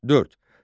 Dörd.